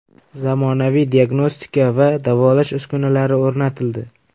Zamonaviy diagnostika va davolash uskunalari o‘rnatildi.